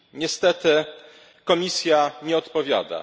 Niestety, Komisja nie odpowiada.